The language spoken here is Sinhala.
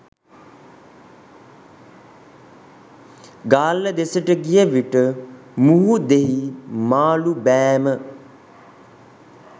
ගාල්ල දෙසට ගිය විට මුහුදෙහි මාළු බෑම